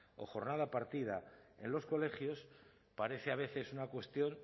o jornada partida en los colegios parece a veces una cuestión